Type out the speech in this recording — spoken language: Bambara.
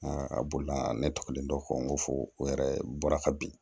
a bolila ne tɔgɔlen dɔ ko n ko fo o yɛrɛ bɔra ka bin